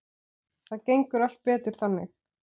Það gengur allt betur þannig.